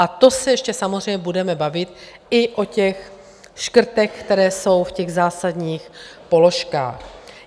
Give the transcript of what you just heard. A to se ještě samozřejmě budeme bavit i o těch škrtech, které jsou v těch zásadních položkách.